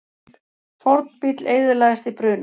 Fornbíll eyðilagðist í bruna